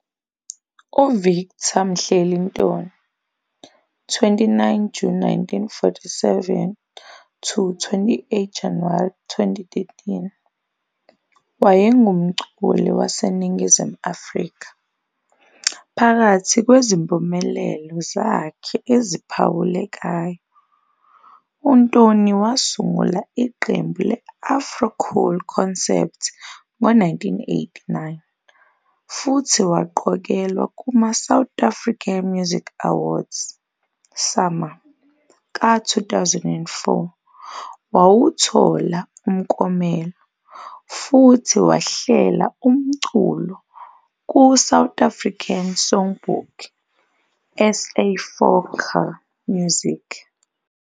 UVictor Mhleli Ntoni, 29 June 1947 to 28 January 2013, wayengumculi waseNingizimu Afrika, phakathi kwezimpumelelo zakhe eziphawulekayo, uNtoni wasungula iqembu le-Afro Cool Concept ngo-1989 futhi waqokelwa kuma-South African Music Awards, SAMA, ka-2004 wawuthola omklomelo, futhi wahlela umculo ku-South African Songbook -- SA Folklore Music.